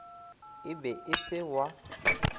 e be e se wa